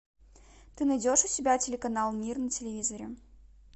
ты найдешь у себя телеканал мир на телевизоре